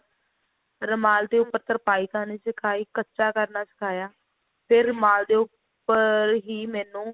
ਰੁਮਾਲ ਦੇ ਉੱਪਰ ਤਰਪਾਈ ਕਰਨੀ ਸਿਖਾਈ ਕੱਚਾ ਕਰਨਾ ਸਿਖਾਇਆ ਫਿਰ ਰੁਮਾਲ ਦੇ ਉੱਪਰ ਹੀ ਮੈਨੂੰ